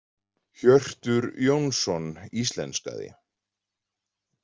Hjörtur Jónsson íslenskaði.